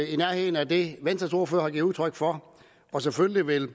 i nærheden af det venstre ordfører har givet udtryk for selvfølgelig vil